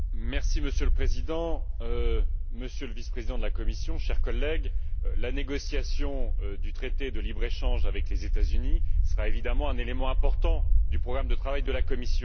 Monsieur le Président, Monsieur le Vice président de la Commission, chers collègues, la négociation du traité de libre échange avec les États Unis sera évidemment un élément important du programme de travail de la Commission.